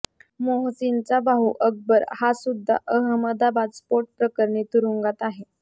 मोहसीनचा भाऊ अकबर हासुद्धा अहमदाबाद स्फोट प्रकरणी तुरुंगात आहे